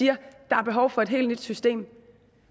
der er behov for et helt nyt system